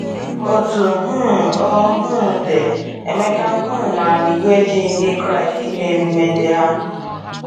Otú um ọ um dị ,Emeka um maara na iwu ejighị Ndị Kraịst ime ememe ndị ahụ.